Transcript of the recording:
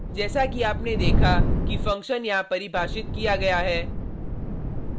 जैसा कि आपने देखा कि फंक्शन यहां परिभाषित किया गया है